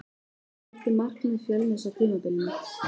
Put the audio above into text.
Hvert er markmið Fjölnis á tímabilinu?